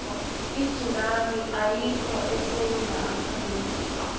itsunami ayikho esewula afrika